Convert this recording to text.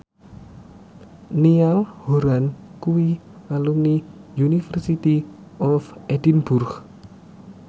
Niall Horran kuwi alumni University of Edinburgh